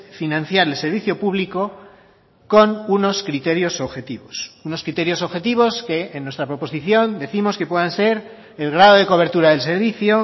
financiar el servicio público con unos criterios objetivos unos criterios objetivos que en nuestra proposición décimos que puedan ser el grado de cobertura del servicio